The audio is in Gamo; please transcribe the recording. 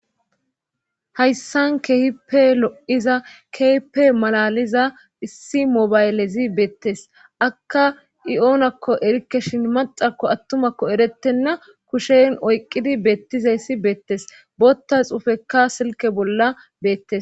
hayssan kehipe lo'iza kehpe malaliza issi mobaylezi beettes akka i oonakko erikke shin maxako attumakko erettenna kushen oyqqidi beettizeyssi beettes botta xuufekka silke bolla beettes